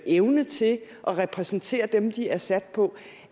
evne til at repræsentere dem de er sat på